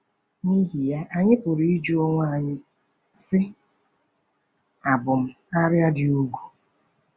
N’ihi ya, anyị anyị pụrụ ịjụ onwe anyị, sị: ‘Àbụ m “arịa dị ùgwù”?